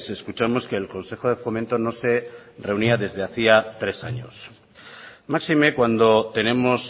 escuchamos que el consejo de fomento no se reunía desde hacía tres años máxime cuando tenemos